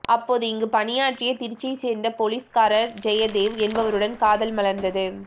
அப்போது இங்கு பணியாற்றிய திருச்சியை சேர்ந்த போலீஸ்காரர் ஜெயதேவ் என்பவருடன் காதல் மலர்ந்தது